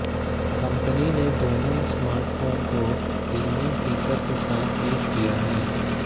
company ने दोनों smartphone को प्रीमियम फीचर्स के साथ पेश किया है